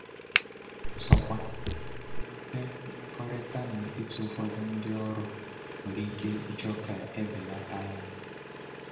Ọ̀zọ̀kwa, mmepe mmekọrịta n'etiti ụfọdụ ndị ọrụ nwere ike ịchọ ka e belata ya.